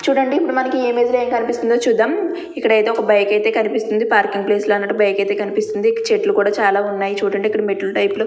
చూడండి ఇప్పుడు మనకి ఇమేజ్ లో కనిపిస్తుందో చూద్దాం ఇక్కడైతే ఒక్క బైక్ ఐతే కనిపిస్తుంది. పార్కింగ్ ప్లేస్ లా అన్నట్లు బైక్ ఐతే కనిపిస్తుంది. ఇక్కడ చెట్లు కుడా చాలా ఉన్నాయి. చుడండి ఇక్కడ మెట్లు టైపు లో --